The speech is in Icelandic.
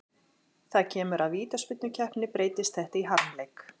Þegar kemur að vítaspyrnukeppni breytist þetta í harmleik.